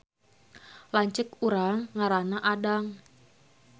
Lanceuk urang ngaranna Adang